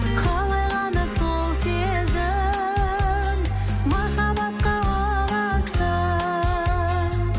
қалай ғана сол сезім махаббатқа ұласты